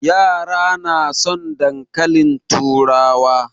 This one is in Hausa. Yara na son dankalin turawa.